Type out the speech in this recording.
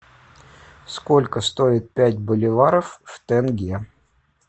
сколько стоит пять боливаров в тенге